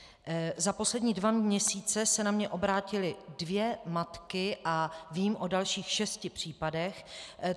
Za poslední dva měsíce se na mě obrátily dvě matky a vím o dalších šesti případech.